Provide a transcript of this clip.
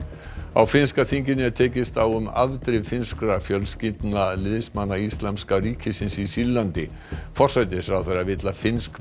á finnska þinginu er tekist á um afdrif finnskra fjölskyldna liðsmanna Íslamska ríkisins í Sýrlandi forsætisráðherrann vill að finnsk